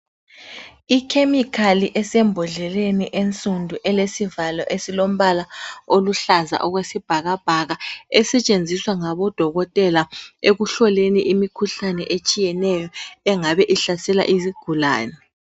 I chemical esembhodleleni ensundu elesivalo esiluhlaza okwesibhakabhaka esetshenziswa ngabodokotela ekuhloleni imikhuhlane etshiyeneyo engabe ihlasela izigulane.